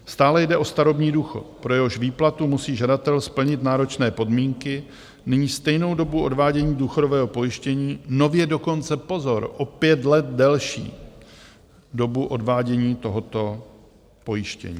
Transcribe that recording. Stále jde o starobní důchod, pro jehož výplatu musí žadatel splnit náročné podmínky, nyní stejnou dobu odvádění důchodového pojištění, nově dokonce pozor, o pět let delší dobu odvádění tohoto pojištění.